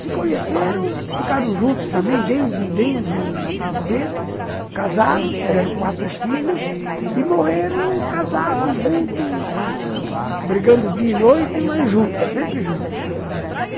Se conheceram, ficaram juntos também desde desde cedo, casaram, tiveram quatro filhos e morreram casados juntos ãh brigando dia e noite, mas juntos, sempre juntos.